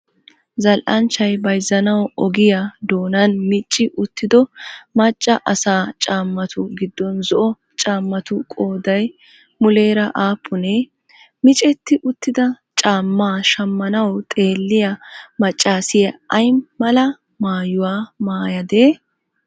Zal'anchchay bayzzanawu ogiyaa doonan micci uttido macca asaa caammatu giddon zo'o caammatu qoodayi muleera aappunee? Micetti uttida caammaa shammanawu xeelliyaa maccaasiya ayi mala maayuwaa maayadee?